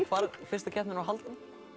fyrsta keppnin var haldin